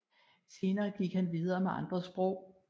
Senere gik han videre med andre sprog